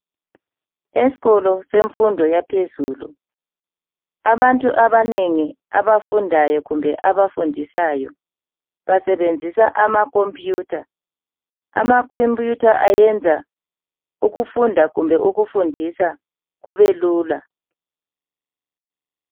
Esikolo semfundo yaphezulu, abantu abanengi abafundayo kumbe abafundisayo basebenzisa ama computer. Ama computer ayenza ukufunda kumbe ukufundisa kubelula.